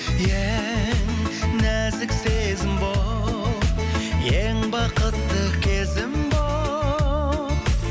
ең нәзік сезім болып ең бақытты кезім болып